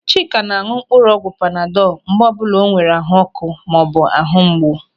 Chika ná-áñụ̀ mkpụrụ ọgwụ panadọl mgbe ọbụla o nwere ahuọ́kụ́ maọbụ ahụ mgbu.